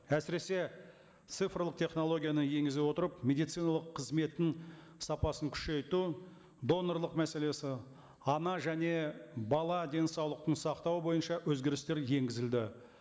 әсіресе цифрлық технологияны енгізе отырып медициналық қызметтің сапасын күшейту донорлық мәселесі ана және бала денсаулығын сақтау бойынша өзгерістер енгізілді